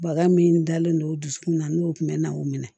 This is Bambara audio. Baga min dalen don o dusukun na n'o kun mɛɛnna o minɛ